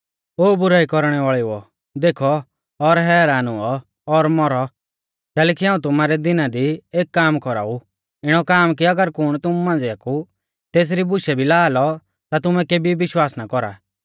ओ बुराई कौरणै वाल़ेउओ देखौ और हैरान हुऔ और मौरौ कैलैकि हाऊं तुमारै दिना दी एक काम कौराऊ इणौ काम कि अगर कुण तुमु मांझ़िया कु तेसरी बुशै भी ला लौ ता तुमै केभी विश्वास ना कौरा